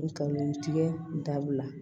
N kalon tigɛ dabila